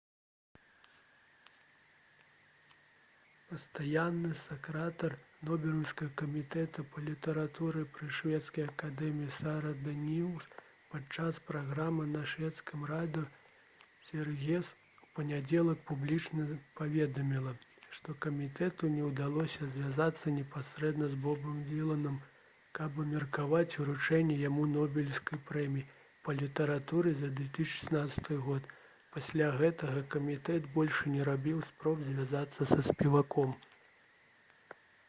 пастаянны сакратар нобелеўскага камітэта па літаратуры пры шведскай акадэміі сара даніус падчас праграмы на шведскім радыё «сверыгес» у панядзелак публічна паведаміла што камітэту не ўдалося звязацца непасрэдна з бобам дыланам каб абмеркаваць уручэнне яму нобелеўскай прэміі па літаратуры за 2016 г. пасля гэтага камітэт больш не рабіў спроб звязацца са спеваком